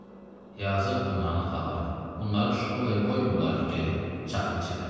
Yazıq bunların ataları, bunları şkolaya qoymayıblar ki, gedib çaxır içirlər.